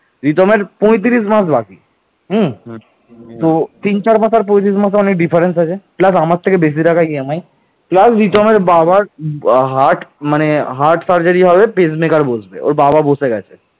এই ভয়ঙ্কর ও ত্রিপক্ষীয় যুদ্ধ পরবর্তী দুই শত বৎসর অব্যাহত থাকে